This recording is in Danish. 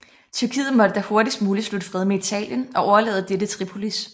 Tyrkiet måtte da hurtigst muligt slutte fred med Italien og overlade dette Tripolis